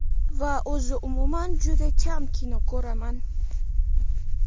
va o‘zi umuman juda kam kino ko‘raman.